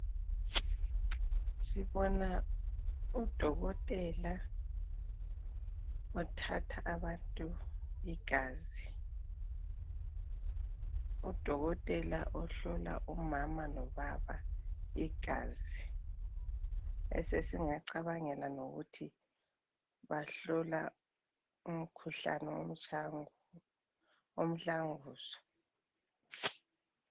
Sibona uDokotela othatha abantu igazi. UDokotela ohlola umama lobaba igazi esesingacabangela ukuthi bahlola umkhuhlane womtshaya ngubo umhlanguzo